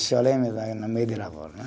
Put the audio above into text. Chorei no meio de lavoura, né